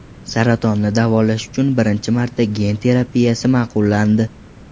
Saratonni davolash uchun birinchi marta gen terapiyasi ma’qullandi.